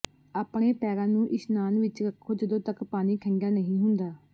ਆਪਣੇ ਪੈਰਾਂ ਨੂੰ ਇਸ਼ਨਾਨ ਵਿੱਚ ਰੱਖੋ ਜਦੋਂ ਤਕ ਪਾਣੀ ਠੰਡਾ ਨਹੀਂ ਹੁੰਦਾ